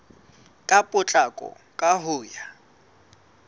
ka potlako ka ho ya